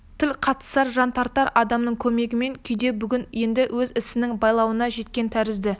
тіл қатысар жан тартар адамын көрмеген күйде бүгін енді өз ісінің байлауына жеткен тәрізді